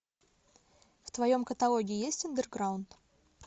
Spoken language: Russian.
в твоем каталоге есть андерграунд